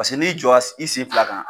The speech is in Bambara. Paseke n'i jɔs i sen fila kan.